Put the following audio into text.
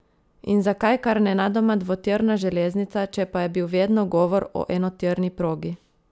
In zakaj kar nenadoma dvotirna železnica, če pa je bil vedno govor o enotirni progi?